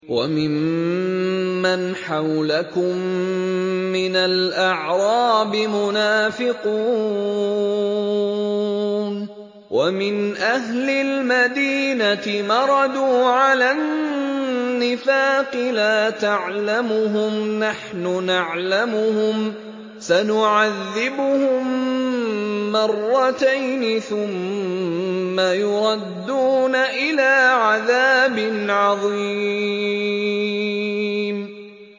وَمِمَّنْ حَوْلَكُم مِّنَ الْأَعْرَابِ مُنَافِقُونَ ۖ وَمِنْ أَهْلِ الْمَدِينَةِ ۖ مَرَدُوا عَلَى النِّفَاقِ لَا تَعْلَمُهُمْ ۖ نَحْنُ نَعْلَمُهُمْ ۚ سَنُعَذِّبُهُم مَّرَّتَيْنِ ثُمَّ يُرَدُّونَ إِلَىٰ عَذَابٍ عَظِيمٍ